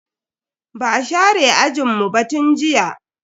Ba a share ajinmu ba tun jiya.